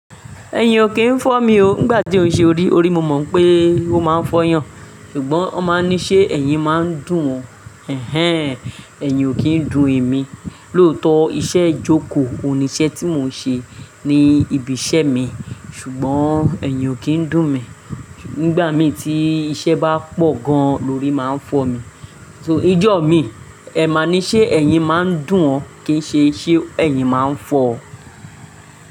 Ẹ̀yin ò kìí fọ́ mi o. Nígbà tí ó ń ṣe orí, orí mo mọ̀ pé ó máa ń fọyàn, ṣùgbọ́n won máa ní ṣé ẹ̀yin máa ń dùn ọ. Hhen! Ẹ̀yin ò kí ń dùn emi. Lóòótọ́ iṣẹ́ ìjókòó oun ni iṣẹ́ tí mo ń ṣe ní ibi iṣẹ́ mi ṣùgbọ́n ẹ̀yin ò kí ń dùn mi. Nígbà mí tí iṣẹ́ bá pọ̀ gan lọ rí máa ń fọ mi. Ìjọ mi, ẹ máa ní ṣé ẹ̀yin máa ń dùn ọ kìí ṣe ṣé ẹ̀yin máa ń fọ ọ.